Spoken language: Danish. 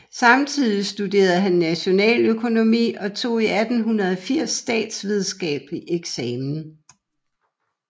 Samtidig studerede han nationaløkonomi og tog i 1880 statsvidenskabelig eksamen